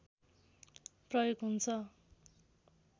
प्रयोग हुन्छ